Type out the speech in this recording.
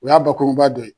O y'a bakuruba dɔ ye